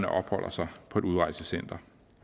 opholder sig på et udrejsecenter